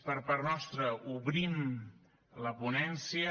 per part nostra obrim la ponència